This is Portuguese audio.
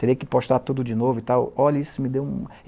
Terei que postar tudo de novo e tal? Olhe isso me deu um...